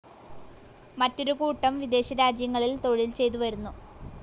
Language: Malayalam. മറ്റൊരു കൂട്ടം വിദേശ രാജ്യങ്ങളിൽ തൊഴിൽ ചെയ്ത് വരുന്നു.